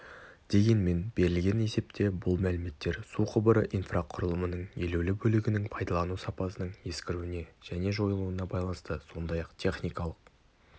дегенмен берілген есепте бұл мәліметтер су құбыры инфрақұрылымының елеулі бөлігінің пайдалану сапасының ескіруіне және жойылуына байланысты сондай-ақ техникалық